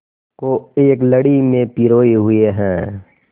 को एक लड़ी में पिरोए हुए हैं